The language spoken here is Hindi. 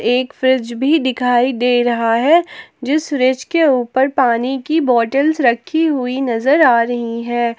एक फ्रिज भी दिखाई दे रहा है जिस फ्रिज के ऊपर पानी की बॉटल्स रखी हुई नजर आ रही है।